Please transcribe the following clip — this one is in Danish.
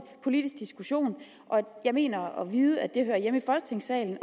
politisk diskussion og jeg mener at vide at den hører hjemme i folketingssalen